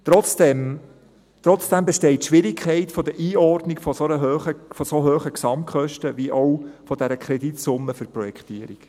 Trotzdem besteht die Schwierigkeit der Einordnung von so hohen Gesamtkosten wie auch der Kreditsumme für die Projektierung.